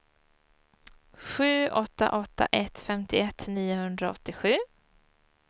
sju åtta åtta ett femtioett niohundraåttiosju